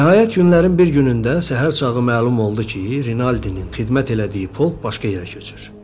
Nəhayət günlərin bir günündə səhər, səhər ona məlum oldu ki, Renalddinin xidmət elədiyi polk başqa yerə köçür.